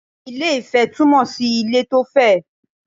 Ilé - ifẹ̀ túmọ̀ sí ilẹ̀ tó fẹ̀